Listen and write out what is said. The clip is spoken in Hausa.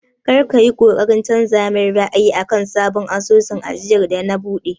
Kar ka yi ƙoƙarin canza min ra'ayi akan sabon asusun ajiyar da na buɗe!